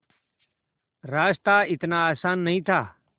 रास्ता इतना आसान नहीं था